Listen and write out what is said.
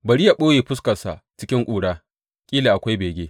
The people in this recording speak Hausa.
Bari yă ɓoye fuskarsa cikin ƙura kila akwai bege.